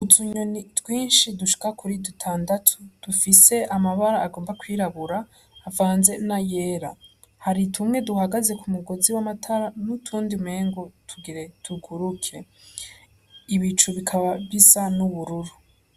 Utunyoni twinshi dushika kuri dutandatu dufise amabara agomba kwirabura tuvanze n' ayera hari tumwe duhagaze k'umugozi w' amatara n' utundi umengo tugire tuguruke, ibicu bikaba bisa n' ubururu.